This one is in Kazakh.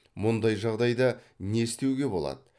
мұндай жағдайда не істеуге болады